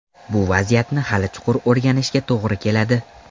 Bu vaziyatni hali chuqur o‘rganishga to‘g‘ri keladi.